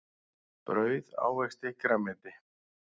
Brauð ávexti grænmeti.